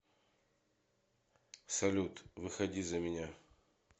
салют выходи за меня